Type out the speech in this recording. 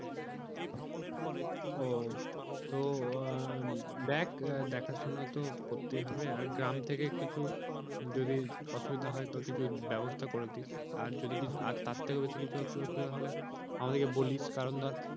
ওহ তো আহ দেখ আহ দেখা শোনা তো করতে হবে আর গ্রাম থেকে কিছু যদি অসুবিধা হয় তো কিছু ব্যবস্থা করে দিস। আর যদি কিছু আর তার থেকেও বেশি কিছু হলে আমাদেরকে বলিস কারণ ধর